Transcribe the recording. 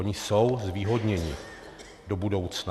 Oni jsou zvýhodněni do budoucna.